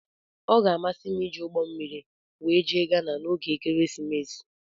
Ọ ga-amasị m iji ụgbọ mmiri wee jee ghana na ógè ekeresimesi.